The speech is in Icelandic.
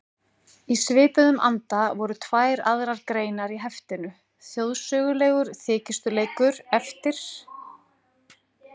Í svipuðum anda voru tvær aðrar greinar í heftinu, Þjóðsögulegur þykjustuleikur eftir